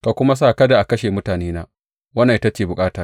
Ka kuma sa kada a kashe mutanena, wannan ita ce bukata.